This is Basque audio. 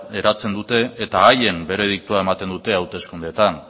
eratzen dute eta haien berediktoa ematen dute hauteskundeetan